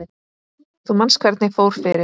Þú manst hvernig fór fyrir